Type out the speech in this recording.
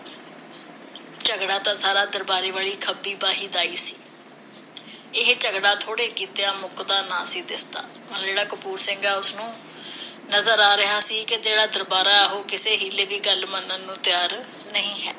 ਝਗੜਾ ਤਾਂ ਸਾਰਾ ਦਰਬਾਰੇ ਵਾਲੀ ਖੱਬੀ ਬਾਹੀ ਦਾ ਹੀ ਸੀ। ਇਹ ਝਗੜਾ ਥੋੜ੍ਹੇ ਕੀਤਿਆਂ ਮੁੱਕਦਾ ਨਾ ਸੀ ਦਿਸਦਾ। ਜਿਹੜਾ ਕਪੂਰ ਸਿੰਘ ਹੈ ਉਸਨੂੰ ਨਜ਼ਰ ਆ ਰਿਹਾ ਸੀ ਕੇ ਜਿਹੜਾ ਦਰਬਾਰਾ ਹੈ ਉਹ ਕਿਸੇ ਹੀਲੇ ਦੀ ਗੱਲ ਮੰਨਣ ਨੂੰ ਤਿਆਰ ਨਹੀਂ ਹੈ।